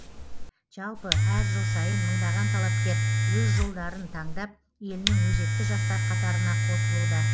жалпы әр жыл сайын мыңдаған талапкер өз жолдарың таңдап елінің өзекті жастар қатарыңа қосылуда